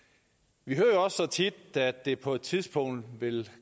vi hører jo også så tit at det på et tidspunkt vil